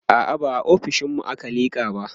a'a ba a ofishinmu aka liƙa ba